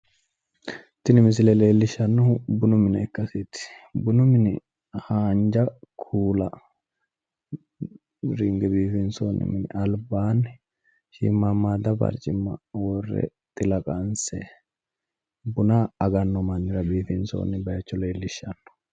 Tini misile leellishshannohu bunu mine ikkasiiti. Bunu mini haanja kuula ringe biifinsoonni mini albaanni shiimmammaadda barcimma worre xila qanse buna aganno mannira biifinsoonni bayicho leellishshanno.